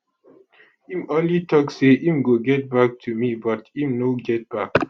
im only tok say im go get back to me but im no get back